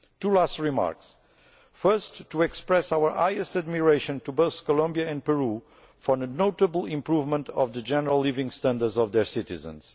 Two last remarks firstly, to express our highest admiration to both Colombia and Peru for a notable improvement of the general living standards of their citizens.